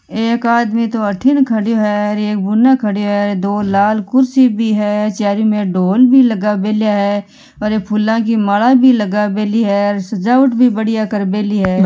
एक आदमी तो अठीन खड़ो है एक बुन खड़ो है दो लाल कुर्सी भी है चारोमेर ढोल भी लगा मेला है और ये फूला की माला भी लगा मेली है सजावट भी बाडिया कर मेली है।